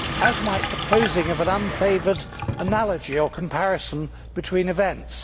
as might the posing of an unfavoured analogy or comparison between events.